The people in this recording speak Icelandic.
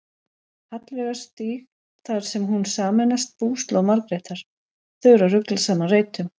Hallveigarstíg þar sem hún sameinast búslóð Margrétar: þau eru að rugla saman reytum.